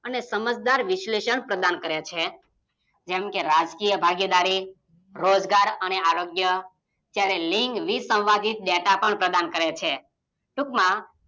N સમજદાર વિશલેશન પ્રદાન કરે છે જેમ કે રાજકીય ભાગેદારી રોજગાર અને આરોગય જયારે લિંગ વીસવાદિત વ્યથા પણ પ્રદાન કરે છે ટૂંકમાં